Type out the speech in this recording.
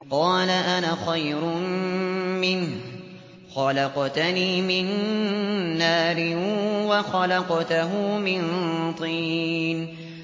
قَالَ أَنَا خَيْرٌ مِّنْهُ ۖ خَلَقْتَنِي مِن نَّارٍ وَخَلَقْتَهُ مِن طِينٍ